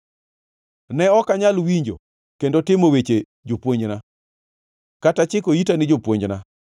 Ne ok anyal winjo kendo timo weche jopuonjna, kata chiko ita ni jopuonjna.